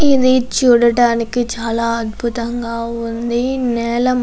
ఇది చూడడానికి చాలా అద్భుతంగా ఉంది. నేల --